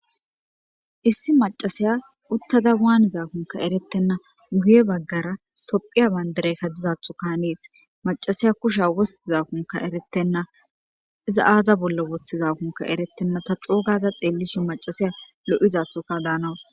Issi macasiya uttada waan zaakunka erettenna guye baggara tophiya banderekka dizathuka nees macasiya kusha wostizakunka eretenna iza aaza bollo wothizakunka erettenna ta coogada xeellisho macasiya lo,izathuka daanawus.